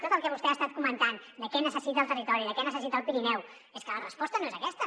tot el que vostè ha estat comentant de què necessita el territori què necessita el pirineu és que la resposta no és aquesta